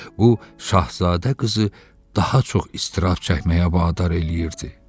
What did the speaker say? Bu Şahzadə qızı daha çox istirab çəkməyə vadar eləyirdi.